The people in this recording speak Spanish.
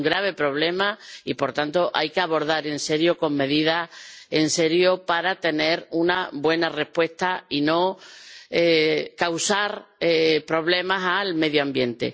Es un grave problema y, por tanto, hay que abordarlo en serio, con medidas serias, para tener una buena respuesta y no causar problemas al medio ambiente.